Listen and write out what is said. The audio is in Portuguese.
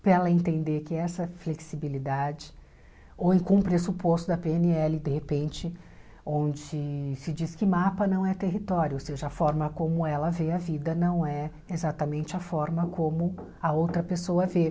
para ela entender que essa flexibilidade, ou com o pressuposto da pê ene ele, de repente, onde se diz que mapa não é território, ou seja, a forma como ela vê a vida não é exatamente a forma como a outra pessoa vê.